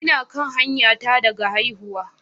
Ina kan hanyata daga haihuwa